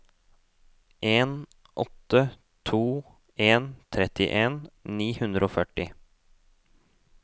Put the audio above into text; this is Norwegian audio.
en åtte to en trettien ni hundre og førti